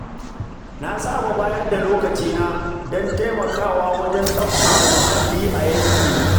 Na saba bayar da lokacina don taimakawa wajen tsabtace muhalli a yankina.